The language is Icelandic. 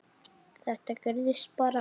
Þetta gerðist bara?!